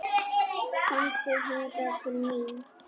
Komdu hingað til mín.